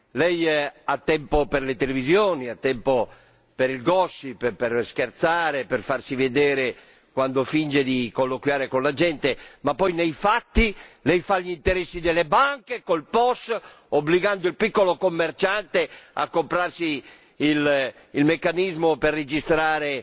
Lei ha tempo per le televisioni, ha tempo per il per scherzare, per farsi vedere quando finge di colloquiare con la gente ma poi, nei fatti, lei fa gli interessi delle banche, col POS, obbligando il piccolo commerciante a comprarsi il meccanismo per registrare